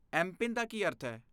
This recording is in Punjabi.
ਐਮ ਪਿਨ ਦਾ ਕੀ ਅਰਥ ਹੈ?